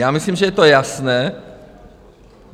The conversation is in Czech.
Já myslím, že je to jasné.